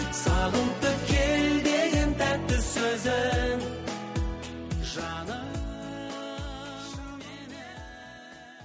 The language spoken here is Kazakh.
сағынтып кел деген тәтті сөзің жаным менің